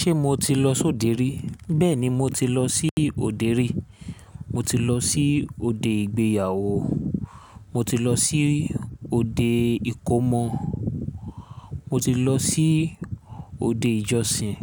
Ṣé mo ti lọ sóde rí? Bẹ́ẹ̀ni, mo ti lọ sí òde rí. Mo ti lọ sí òde ìgbéyàwó, mo ti lọ sí òde ìkómọ, mo ti lọ sí òde ìjọsìn,